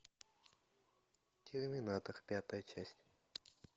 терминатор пятая часть